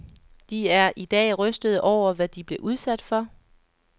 De er i dag rystede over, hvad de blev udsat for.